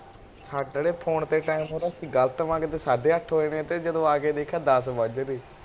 ਸਾਡੇ ਆਲੇ ਫ਼ੋਨ ਤੇ ਸਮਾਂ ਗਲਤ ਸਾਡੇ ਅੱਠ ਹੋਏ ਨੇ ਜਦੋਂ ਆਕੇ ਵੇਖਿਆ ਦੱਸ ਵੱਜ ਰੇ